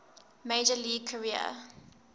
major league career